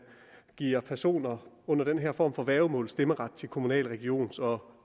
giver personer under den her form for værgemål stemmeret til kommunal regions og